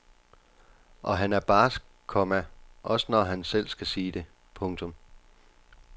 Og han er barsk, komma også når han selv skal sige det. punktum